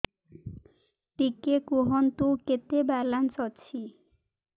ଟିକେ କୁହନ୍ତୁ କେତେ ବାଲାନ୍ସ ଅଛି